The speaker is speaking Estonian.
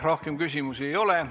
Rohkem küsimusi ei ole.